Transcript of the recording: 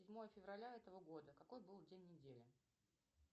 седьмое февраля этого года какой был день недели